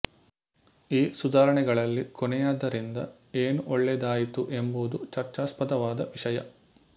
ಈ ಸುಧಾರಣೆಗಳಲ್ಲಿ ಕೊನೆಯದರಿಂದ ಏನು ಒಳ್ಳೆಯದಾಯಿತು ಎಂಬುದು ಚರ್ಚಾಸ್ಪದವಾದ ವಿಷಯ